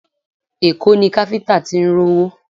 Èkó ni káfíńtà tí ń rówó